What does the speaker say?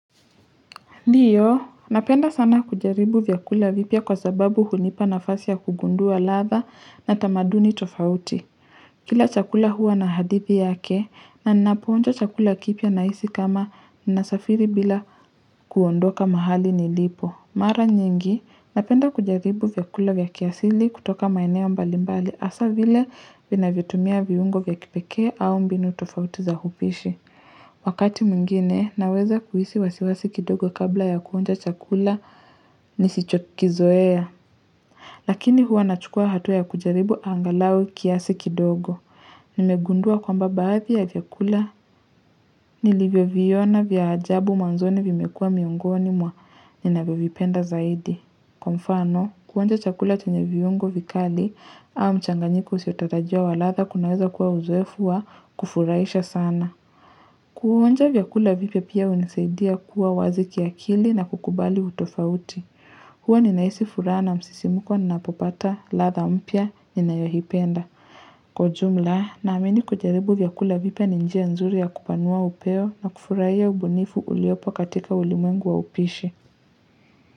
Ndiyo, napenda sana kujaribu vyakula vipya kwa sababu hunipa nafasi ya kugundua latha na tamaduni tofauti. Kila chakula huwa na hadithi yake na ninapohonja chakula kipya nahisi kama nasafiri bila kuondoka mahali nilipo. Mara nyingi, napenda kujaribu vyakula vya kiasili kutoka maeneo mbali mbali hasa vile vinavyotumia viungo vya kipekee au mbinu tofauti za upishi. Wakati mwingine, naweza kuhisi wasiwasi kidogo kabla ya kuonja chakula nisichokizoea. Lakini hua nachukua hatua ya kujaribu angalau kiasi kidogo. Nimegundua kwamba baathi ya vyakula nilivyoviona vya ajabu mwanzoni vimekua miongoni mwa ninavyovipenda zaidi. Kwa mfano, kuonja chakula chenye vyungo vikali au mchanganyiku usiotatajua walatha kunaweza kuwa uzoefua kufuraisha sana. Kuwonja vyakula vipya pia unisaidia kuwa wazi ya kiakili na kukubali utofauti huwa ninahisifuraha na msisimuko ninaapopata ladha mpya ninayoipenda kwa jumla naamini kujaribu vyakula vipya ni njia nzuri ya kupanua upeo na kufurahia ubunifu uliopo katika ulimwengu wa upishi.